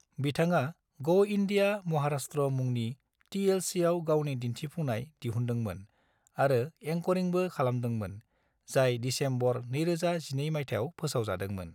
बिथाङा ग' इंडिया महाराष्ट्र मुंनि टीएलसीआव गावनि दिन्थिफुंनाय दिहुनदोंमोन आरो एंकरिंबो खालामदोंमोन, जाय दिसेम्बर 2012 मायथाइयाव फोसावजादोंमोन।